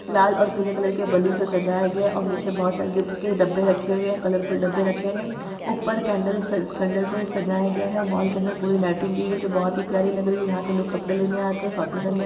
लाल और पीले कलर के बैलून से सजाया गया है और नीचे बोहोत सारे गिफ्टस के डब्बे रखे हुए हैं कलरफुल डब्बे रखे हुए हैं ऊपर कैंडल स कैंडल से सजाया गया है माल के अंदर पूरी लाइटिंग की है जो बोहोत ही प्यारी लग रही है यहां पर लोग कपड़े लेने आते हैं शॉपिंग करने आ --